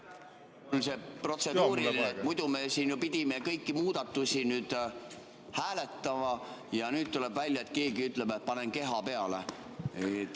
protseduuriline, et muidu me ju pidime siin kõiki muudatusi hääletama, aga nüüd tuleb välja, et keegi ütleb, et paneb keha peale.